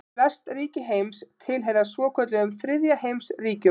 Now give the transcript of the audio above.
Flest ríki heims tilheyra svokölluðum þriðja heims ríkjum.